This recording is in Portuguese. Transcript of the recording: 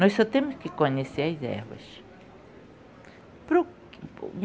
Nós só temos que conhecer as ervas.